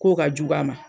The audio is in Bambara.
K'o ka jugu a ma